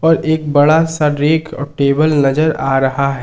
एक बड़ा सा रैक और टेबल नजर आ रहा है।